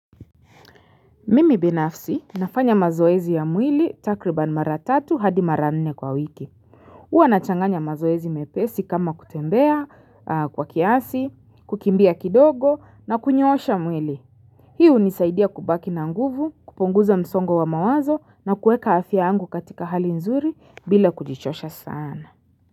Mimi binafsi nafanya mazoezi ya mwili takriban mara tatu hadi mara nne kwa wiki huwa nachanganya mazoezi mepesi kama kutembea kwa kiasi kukimbia kidogo na kunyoosha mwili Hi hunisaidia kubaki na nguvu kupunguza msongo wa mawazo na kueka afya yangu katika hali nzuri bila kujichosha sana.